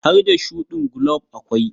Har da shuɗin gulob akwai.